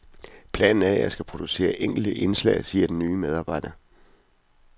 Planen er, at jeg skal producere enkelte indslag, siger den nye medarbejder.